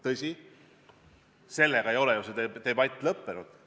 Tõsi, sellega ei ole ju debatt lõppenud.